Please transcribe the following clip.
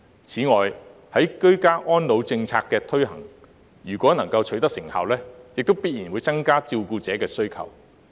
此外，居家安老政策的推行如果能夠取得成效，亦必然會增加對照顧者的需求。